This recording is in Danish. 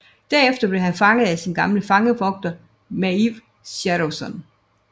Derefter blev han fanget af sin gamle fangevogter Maiv Shadowson